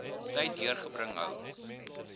tyd deurbring hou